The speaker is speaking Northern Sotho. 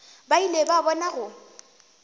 ba ile ba bona go